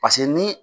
Paseke ni